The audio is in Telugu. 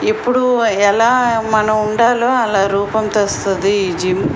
ఎపుడు ఎలా మనం ఉండాలో అలా రూపం తెలుస్తుంది ఈ జిమ్ .